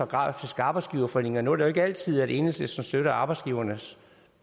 grafisk arbejdsgiverforening og nu er det ikke altid at enhedslisten støtter arbejdsgivernes